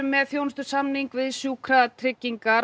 með þjónustusamning við Sjúkratryggingar